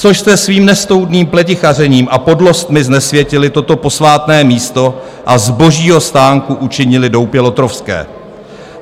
Což jste svým nestoudným pletichařením a podlostmi znesvětili toto posvátné místo a z Božího stánku učinili doupě lotrovské?